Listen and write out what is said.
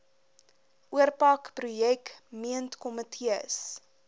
oorpak projek meentkomitees